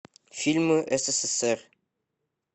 фильмы ссср